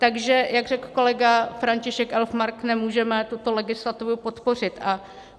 Takže jak řekl kolega František Elfmark, nemůžeme tuto legislativu podpořit.